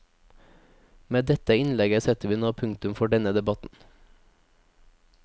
Med dette innlegget setter vi nå punktum for denne debatten.